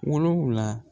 Wolonfila